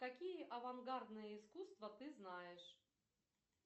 какие авангардные искусства ты знаешь